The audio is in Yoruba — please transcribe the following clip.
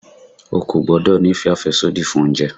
O kò gbọ́dọ̀ ní ìfẹ́ àfẹ́sódì fún oúnjẹ!